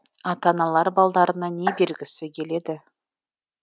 ата аналар балдарына не бергісі келеді